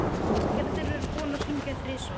Gerður er búin að hringja þrisvar.